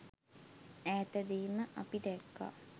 ඈතදීම අපි දැක්කා